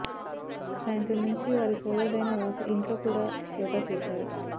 సాయంత్రం నుంచి వారి సోదరుడైన వాసు ఇంట్లో కూడా సోదా చేశారు